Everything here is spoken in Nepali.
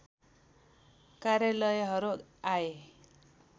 कार्यालयहरू आए